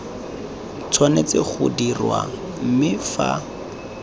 tshwanetse go dirwa mme fa